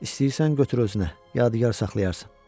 İstəyirsən götür özünə, yadigar saxlayarsan.